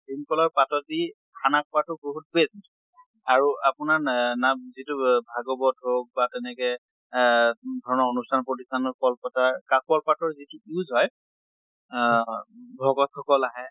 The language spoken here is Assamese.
ভীম কলৰ পাতত দি খানা খোৱাতো বহুত best আৰু আপোনাৰ নে নাম যিটো ভাগৱত হৌক বা তেনেকে অহ ধৰণৰ অনুষ্ঠান প্ৰতিষ্ঠানত কল পাতাৰ কা কল পাতৰ যিটো use হয় আহ ভকত সকল আহে